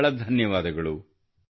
ಬಹಳ ಬಹಳ ಧನ್ಯವಾದಗಳು